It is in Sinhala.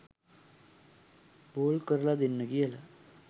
බෝල් කරල දෙන්න කියලා